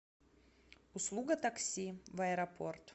услуга такси в аэропорт